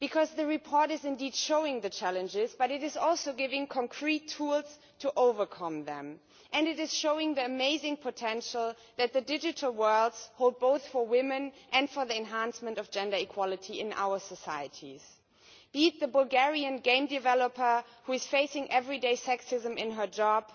The report does indeed show the challenges, but it also gives concrete tools to overcome them and the amazing potential that the digital world holds both for women and for the enhancement of gender equality in our societies, be it the Bulgarian game developer who is facing everyday sexism in her job,